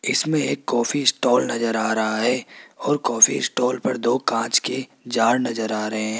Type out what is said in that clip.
इसमें एक coffee stall नजर आ रहा है और काफी स्टॉल पर दो कांच के जार नजर आ रहे हैं।